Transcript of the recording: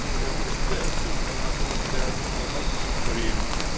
İzin veriniz də sırf mərakımı gidərmiş olmaq üçün sorayım.